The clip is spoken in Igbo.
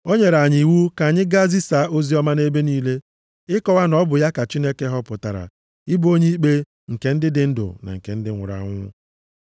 O nyere anyị iwu ka anyị gaa zisaa oziọma nʼebe niile, ịkọwa na ọ bụ ya ka Chineke họpụtara ịbụ onye ikpe nke ndị dị ndụ na ndị nwụrụ anwụ.